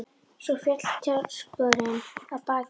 Svo féll tjaldskörin að baki honum.